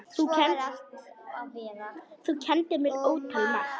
Þú kenndir mér ótal margt.